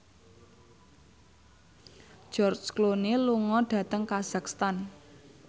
George Clooney lunga dhateng kazakhstan